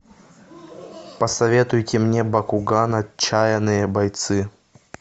посоветуйте мне бакуган отчаянные бойцы